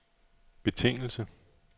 betingelse